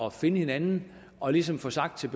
at finde hinanden og ligesom får sagt til